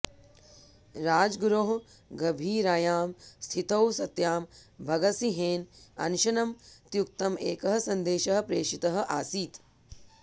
राजगुरोः गभीरायां स्थितौ सत्यां भगतसिंहेन अनशनं त्यक्तुम् एकः सन्देशः प्रेषितः आसीत्